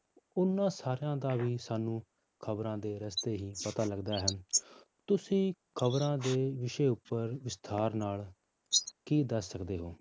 ਉਹਨਾਂ ਸਾਰਿਆਂ ਦਾ ਵੀ ਸਾਨੂੰ ਖ਼ਬਰਾਂ ਦੇ ਰਸਤੇ ਹੀ ਪਤਾ ਲੱਗਦਾ ਹੈ ਤੁਸੀਂ ਖ਼ਬਰਾਂ ਦੇ ਵਿਸ਼ੇ ਉੱਪਰ ਵਿਸਥਾਰ ਨਾਲ ਕੀ ਦੱਸ ਸਕਦੇ ਹੋ?